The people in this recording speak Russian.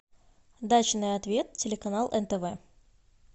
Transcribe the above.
дачный ответ телеканал нтв